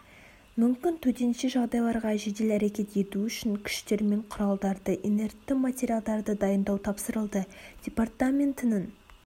мүмкін төтенше жағдайларға жедел әрекет ету үшін күштер мен құралдарды инертті материалдарды дайындау тапсырылды департаментінің